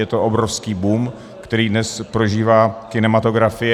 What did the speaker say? Je to obrovský boom, který dnes prožívá kinematografie.